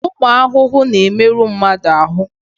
Ụmụ ahụhụ na-emerụ mmadụ ahụ.